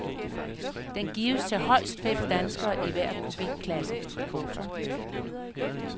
Den gives til højst fem danskere i hver kubikklasse. punktum